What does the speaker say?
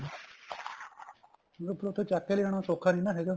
ਨਹੀਂ ਫ਼ੇਰ ਉੱਥੇ ਚੱਕ ਕੇ ਲਿਆਉਣ ਸੋਖਾ ਨਹੀਂ ਨਾ ਹੈਗਾ